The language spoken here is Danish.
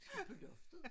På loftet?